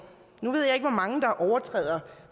nu ved jeg ikke hvor mange der overtræder